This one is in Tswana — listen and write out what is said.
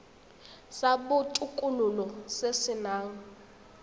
sa botokololo se se nang